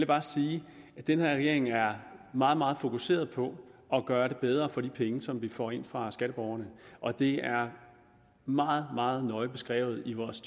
bare sige at den her regering er meget meget fokuseret på at gøre det bedre for de penge som vi får ind fra skatteborgerne og det er meget meget nøje beskrevet i vores